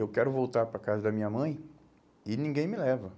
Eu quero voltar para a casa da minha mãe e ninguém me leva.